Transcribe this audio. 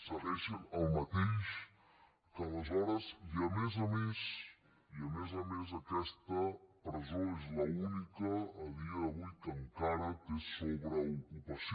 segueix sent el mateix que aleshores i a més a més i a més a més aquesta presó és l’única a dia d’avui que encara té sobreocupació